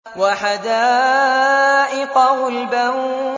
وَحَدَائِقَ غُلْبًا